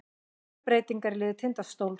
Miklar breytingar á liði Tindastóls